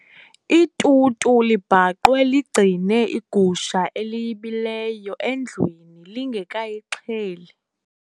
Itutu libhaqwe ligcine igusha eliyibileyo endlwini lingekayixheli.